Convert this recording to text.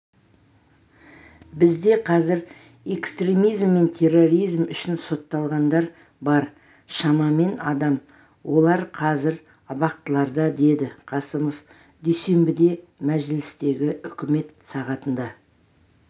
бізде қазір экстремизм мен терроризм үшін сотталғандар бар шамамен адам олар қазір абақтыларда деді қасымов дүйсенбіде мәжілістегі үкімет сағатында